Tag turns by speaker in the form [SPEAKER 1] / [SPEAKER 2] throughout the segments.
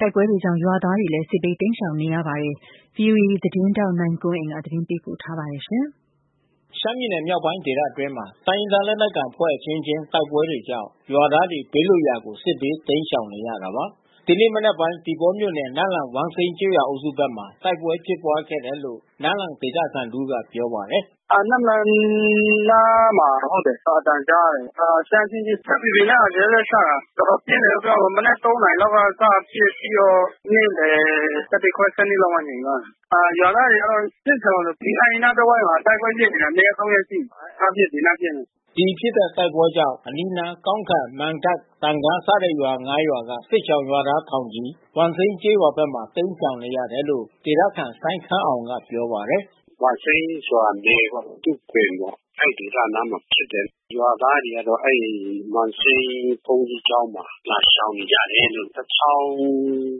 [SPEAKER 1] တိုက်ပွဲတွေကြောင့်ရွာသားတွေလည်း စစ်ဘေးတိမ်းရှောင်နေရပါတယ်။ ဒီအကြောင်း ဗွီအိုအေသတင်းထောက် ကိုနိုင်ကွန်းအိန်ကနေ သတင်း ပ
[SPEAKER 2] ေးပို့ထားပါတယ်။ ရှမ်းပြည်နယ်မြောက်ပိုင်းဒေသအတွင်းမှာ တိုင်းရင်းသားလက်နက်ကိုင်အဖွဲ့ အချင်းချင်းတိုက်ပွဲတွေကြောင့် ရွာသားတွေ ဘေးလွတ်ရာကို စစ်ဘေးတိမ်းရှောင်နေရတာပါ။ ဒီနေ့ မနက်ပိုင်း သီပေါမြို့နယ် နမ့်လန်ဝမ်စိမ်းကျေးရွာအုပ်စုဘက်မှာ တိုက်ပွဲဖြစ်ပွါးခဲ့တယ်လို့ နမ့်လန်ဒေသခံတဦးက ပြောပါတယ်
[SPEAKER 1] ။ "နမ့်လန်အနားမှာ ဟုတ်တယ်။ အသံကြားရတယ်။ ရှမ်းအချင်းချင်း။ SSPP နဲ့ RCSS နဲ့ချတာ။ တော်တော်ပြင်းတယ်လို့ ပြောရမှာပေါ့။ မနက် ၃ နာရီလောက်ကစ ပစ်ပြီးတော့ နေ့လယ် ၁၁ ခွဲ၊ ၁၂ လောက်မှ ငြိမ်သွားတယ်။ ရွာသားတွေကတော့ စစ်ရှောင်ပြေး။ ဒီနားတဝိုက်မှာ တိုက်ပွဲဖြစ် နေတာ နှစ်ရက်၊ သုံးရက်ရှိပြီ။ ဟိုနားပစ် ဒီနားပစ်နဲ့။
[SPEAKER 2] " ဒီဖြစ်တဲ့ တိုက်ပွဲကြောင့် အနီးနားကောင်းခံ မံတပ် သံကားစတဲ့ရွာ ၅ ရွာက စစ်ရှောင်ရွာသားထောင်ချီ ဝမ်စိမ်းကျေးရွာဘက်မှာ တိမ်းရှောင်နေရတယ်လို့ ဒေသခံ စိုင်းခမ်းအောင်ကပြောပါတယ်။ "ဝ
[SPEAKER 1] မ်စိမ်းရွာအနီး သူဂွင်ပေါ့။ အဲဒီဒေသနားမှာ ဖြစ်တယ်။ ရွာသားတွေကတော့ အဲဒီဝမ်စိမ်းဘုန်းကြီးကျောင်းမှာ လာရှောင်နေကြတယ်လို့ ၁,၀၀၀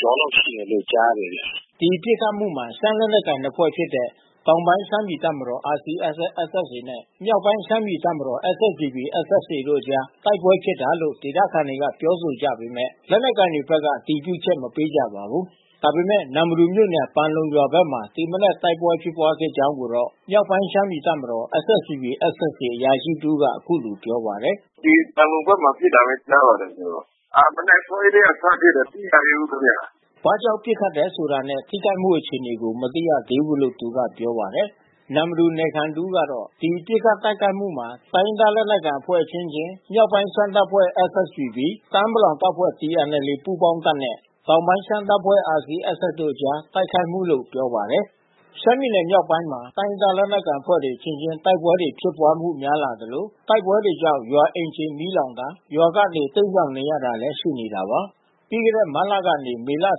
[SPEAKER 1] ကျော်လောက်ရှိတယ်လို့ကြားတယ်ဗျ။
[SPEAKER 2] " ဒီပစ်ခတ်မှုမှာ ရှမ်းလက်နက်ကိုင်နှစ်ဖွဲ့ဖြစ်တဲ့ တောင်ပိုင်းရှမ်းပြည်တပ်မတော် RCSS/SSA နဲ့ မြောက်ပိုင်းရှမ်းပြည်တပ်မတော် SSPP/SSA တို့အကြား တိုက်ပွဲဖြစ်တာလို့ ဒေသခံတွေက ပြောဆိုကြပေမဲ့ လက်နက်ကိုင်တွေဘက်က အတည်ပြုချက် မပေးကြပါဘူး။ ဒါပေမဲ့ နမ္မတူမြို့နယ် ပန်လုံရွာဘက်မှာ ဒီမနက်တိုက်ပွဲဖြစ်ပွါးခဲ့ကြောင်းကိုတော့ မြောက်ပိုင်းရှမ်းပြည်တပ်မတော် SSPP/SSA အရာရှိတဦးက အခုလိုပြောပါတယ်။
[SPEAKER 1] "ဒီပန်လုံဘက်မှာ ပစ်တာပဲ ကြားပါတယ် ကျနော်။ မနက်အစောကြီးကတည်းက စပစ်တယ်။ မသိရသေးဘူး ခင်ဗျ။
[SPEAKER 2] " ဘာကြောင့် ပစ်ခတ်တယ်ဆိုတာနဲ့ ထိခိုက်မှုအခြေအနေကို မသိရသေးဘူးလို့ သူကပြောပါတယ်။ နမ္မတူနယ်ခံတဦးကတော့ ဒီပစ်ခတ်တိုက်ခိုက်မှုမှာ တိုင်းရင်းသားလက်နက်ကိုင်အဖွဲ့အချင်းချင်း မြောက်ပိုင်းရှမ်းတပ်ဖွဲ့SSPP၊ တအာင်းပလောင်တပ်ဖွဲ့ TNLA ပူးပေါင်းတပ်နဲ့ တောင်ပိုင်းရှမ်းတပ်ဖွဲ့ RCSS တို့အကြားတိုက်ခိုက်မှုလို့ ပြောပါတယ်။ ရှမ်းပြည်နယ်မြောက်ပိုင်းမှာ တိုင်းရင်းသားလက်နက်ကိုင်အဖွဲ့တွေ အချင်းချင်းတိုက်ပွဲ တွေဖြစ်ပွါးမှု များလာသလို တိုက်ပွဲတွေကြောင့် ရွာအိမ်ခြေမီးလောင်တာ ရွာကနေ တိမ်းရှောင်နေရတာလည်း ရှိနေတာပါ။ ပြီးခဲ့တဲ့ မတ်လကနေ မေလအ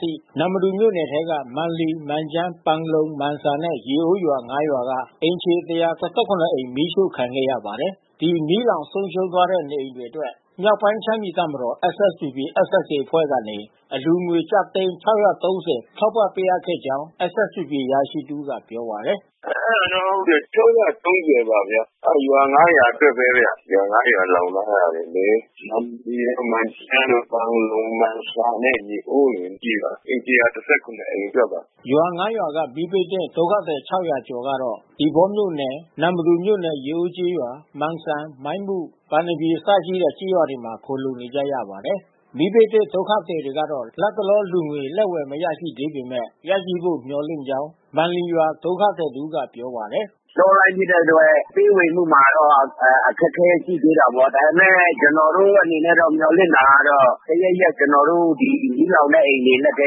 [SPEAKER 2] ထိ နမ္မတူမြို့နယ်ထဲက မန်လီ၊ မန်ကျန်း၊ ပန်လုံ၊ မန်ဆာနဲ့ ရေအိုးကျေးရွာ ၅ ရွာကအိမ်ခြေ ၁၁၇ အိမ် မီးရှို့ခံခဲ့ရပါတယ်။ ဒီ မီးလောင်ဆုံးရှုံးသွားတဲ့ နေအိမ်တွေအတွက် မြောက်ပိုင်းရှမ်းပြည်တပ်မတော် SSPP/SSAအဖွဲ့ကနေ အလှူငွေကျပ်သိန်း ၆၃၀ ထောက်ပံ့ပေးအပ်ခဲ့ကြောင်း SSPP အရာရှိတဦးကပြောပါတယ်။
[SPEAKER 1] "အဲဒါတော့ဟုတ်တယ်။ ၆၃၀ ပါဗျ။ အဲဒီရွာ ၅ ရွာအတွက်ပဲဗျ။ ရွာ ၅ ရွာလောင်သွားတာတွေလေ။ မန်လီ၊ မန်ကျန်းတို့၊ ပန်လုံ၊ မန်ဆာနဲ့ ရေအိုးကျေးရွာ။ အိမ် ၁၁၇ အိမ်အတွက်ပါ
[SPEAKER 2] ။" ရွာ ၅ ရွာက မီးဘေးသင့် ဒုက္ခသည် ၆၀၀ ကျော်ကတော့ သီပေါမြို့နယ် နမ္မတူမြို့နယ် ရေအိုးကျေးရွာ မန်စံ၊ မိုင်းမု၊ ပန်သပြေအစ ရှိတဲ့ ကျေးရွာတွေမှာ ခိုလှုံနေကြပါတယ်။ မီးဘေးသင့်ဒုက္ခသည်တွေကတော့ လတ်တလောအလှူငွေလက်ဝယ် မရရှိသေးပေမဲ့ ရရှိဖို့ မျှော်လင့်ကြောင်း မန်လီရွာ ဒုက္ခသည်တဦးကပြောပါတယ်။
[SPEAKER 1] "တောလမ်းဖြစ်တဲ့အတွက် ပေးဝေမှုမှာတော့ အခက်ခဲရှိသေးတာပေါ့။ ဒါပေမဲ့ ကျနော်တို့အနေနဲ့တော့ မျှော်လင့်တာတော့ တရက်ရက် ကျနော်တို့ မီးလောင်တဲ့အိမ်တွေ လက်ထဲ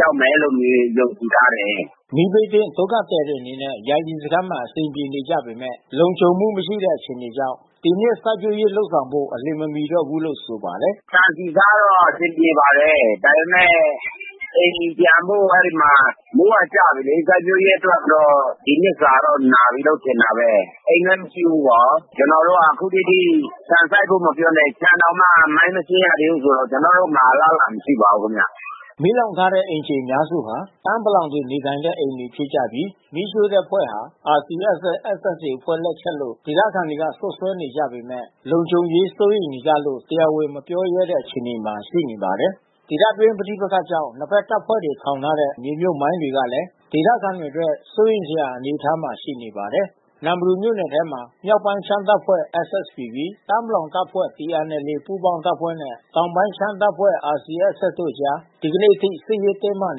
[SPEAKER 1] ရောက်မယ်လို့ လူတွေ ယုံကြည်ထားတယ်။
[SPEAKER 2] " မီးဘေးသင့်ဒုက္ခသည်တွေအနေနဲ့ ယာယီစခန်းမှာ အဆင်ပြေနေပေမဲ့ လုံခြုံမှု မရှိတဲ့အခြေအနေကြောင့် ဒီနှစ် စိုက်ပျိုးလုပ်ဆောင်ဖို့ အလျင်မမီတော့ဘူးလို့ဆိုပါတယ်။ "ဆန်ဆီဆားတော့အဆင်ပြေပါတယ်။ ဒါပေမဲ့ အိ
[SPEAKER 1] မ်ပြန်ဖို့ အဲဒီမှာ မိုးကကျပြီလေ။ စိုက်ပျိုးရေးအတွက်တော့ ဒီနှစ်စာတော့ နားပြီလို့ ထင်တာပဲ။ အိမ်လည်း မရှိဘူးနော်။ ကျနော်တို့က အခုထက်ထိ ဆန်စိုက်ဖို့ မပြောနဲ့ ခြံတောင်မှ မိုင်းမရှင်းရသေးဘူးဆိုတော့ ကျနော်တို့မှာ အလားလာ မရှိပါဘူးခင်ဗျ
[SPEAKER 2] ။ မီးလောင်ထားတဲ့ အိမ်ခြေအများစုဟာ တအာင်းပလောင်တွေ နေထိုင်တဲ့ အိမ်တွေဖြစ်ကြပြီး မီးရှို့တဲ့အဖွဲ့ဟာ RCSS/SSA အဖွဲ့ လက်ချက်လို့ ဒေသခံတွေ စွပ်စွဲကြပေမဲ့ လုံခြုံရေးစိုးရိမ်နေကြလို့ တရားဝင်မပြောရဲကြတဲ့အခြေအနေမှာ ရှိနေပါတယ်။ ဒေသတွင်းပဋိပက္ခကြောင့် နှစ်ဘက်တပ်ဖွဲ့တွေ ထောင်ထားတဲ့ မြေမြှုပ်မိုင်းတွေဟာလည်း ဒေသခံတွေအတွက် စိုးရိမ်စရာအနေအထားမှာ ရှိနေပါတယ်။ နမ္မတူမြို့နယ်ထဲမှာ မြောက်ပိုင်းရှမ်းတပ်ဖွဲ့SSPP၊ တအာင်းပလောင်တပ်ဖွဲ့ ပူးပေါင်းတပ်နဲ့ တောင်ပိုင်းရှမ်းတပ်ဖွဲ့ တို့အကြား ဒီနေ့အထိ စစ်ရေးတင်းမာ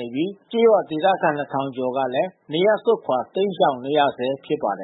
[SPEAKER 2] နေပြီး ကျေးရွာခံ ၂,၀၀၀ ကျော်ကလည်း နေရပ်စွန့်ခွာ တိမ်းရှောင်နေရဆဲဖြစ်ပါတယ
[SPEAKER 1] ်